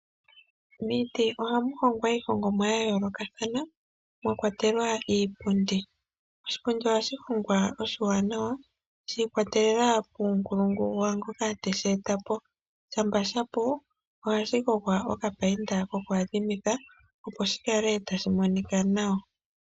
Miiti ohamu hongwa iihongomwa yayoolokathana mwakwatelwa iipundi. Oshipundi ohashi hongwa oshiwanawa shi ikwatelela kuunkulungu waangoka teshe eta po. Shampa shapu ohashi gogwa okapainda kokuyadhimitha opo shikale tashi monika nawa.